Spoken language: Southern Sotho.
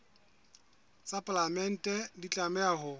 tsa palamente di tlameha ho